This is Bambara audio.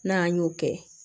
N'an y'o kɛ